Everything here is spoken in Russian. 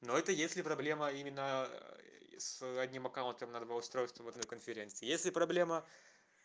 но это если проблема именно с одним аккаунтом на два устройства в одной конференции если проблема